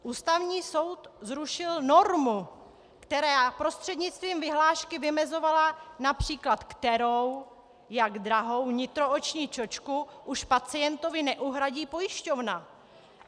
Ústavní soud zrušil normu, která prostřednictvím vyhlášky vymezovala, například kterou, jak drahou nitrooční čočku už pacientovi neuhradí pojišťovna.